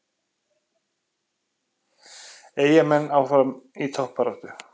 Eyjamenn áfram í toppbaráttu